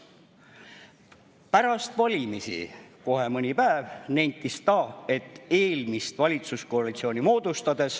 Mõni päev pärast valimisi nentis ta, et eelmist valitsuskoalitsiooni moodustades …